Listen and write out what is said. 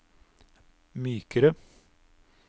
mykere